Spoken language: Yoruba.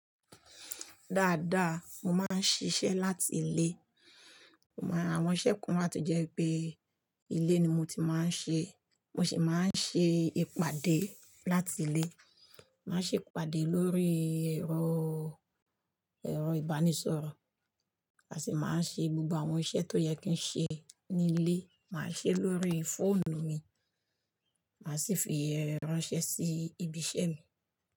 Dáadáa, mo máa ń ṣiṣẹ́ láti ilé. Àwọn iṣẹ́ kan wáa tó jẹ́ pé ilé ni mo ti máa ń ṣe. Mo sì máa ń ṣe ìpàdé láti ilé. Màá ṣe ìpàdé lórí ẹ̀rọ, ẹ̀rọ ìbánisọ̀rọ̀. Màá sì máa ń ṣe gbogbo àwọn iṣẹ́ tó yẹ kí n ṣe ní ilé, màá ṣe é lórí fóònù mi. Màá sì fi ránṣẹ́ sí ibi iṣẹ́ mi.